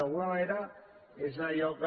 d’alguna manera és allò que